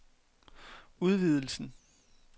udvidelsen